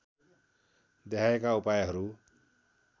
देहायका उपायहरू